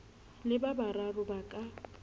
le ba bararo ba ka